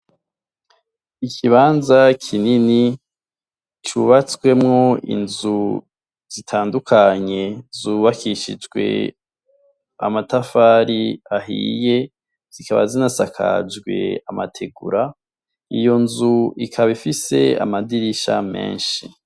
Ikibanza kinini cubatswemwo inzu zitandukanye, zubakishijwe amatafari ahiye, zikaba zinasakajwe amategura. Iyo nzu ikaba ifise amadirisha menshi.